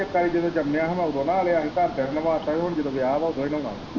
ਇੱਕ ਵਾਰੀ ਜਦੋਂ ਜੰਮਿਆ ਹੀ ਉਦੋਂ ਨਾਹ ਲਿਆ ਹੀ ਘਰਦਿਆਂ ਨੇ ਨਵਾਤਾ ਹੀ ਹੁਣ ਜਦੋਂ ਵਿਆਹ ਵਾ ਉਦੋਂ ਹੀ ਨਹਾਉਣਾ ਹੈ।